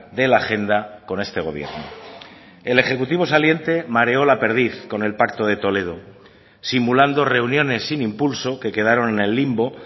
de la agenda con este gobierno el ejecutivo saliente mareó la perdiz con el pacto de toledo simulando reuniones sin impulso que quedaron en el limbo